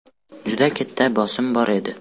Juda katta bosim bor edi.